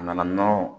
A nana nɔnɔ